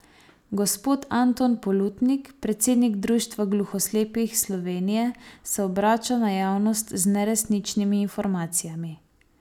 Gospod Anton Polutnik, predsednik Društva gluhoslepih Slovenije, se obrača na javnost z neresničnimi informacijami.